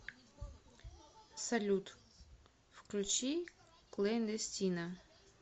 салют включи клэндестина